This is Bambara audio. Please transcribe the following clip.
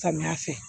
Samiya fɛ